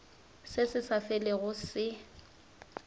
se se sa felego se